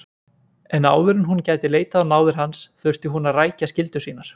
En áður en hún gæti leitað á náðir hans þurfti hún að rækja skyldur sínar.